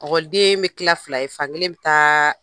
Ɔkɔlideen bɛ tila fila ye fankelen be taa